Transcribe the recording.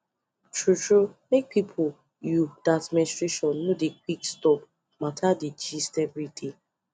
true true make people you that menstruation no dey quick stop matter dey gist everyday